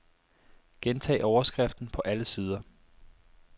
Gentag overskriften på alle sider.